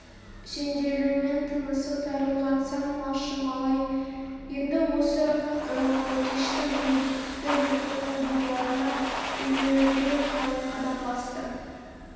сенделумен тынысы тарылған сан малшы-малай енді осы кеште өзді-өзінің байларына ақ үйлерге қарай қадам басты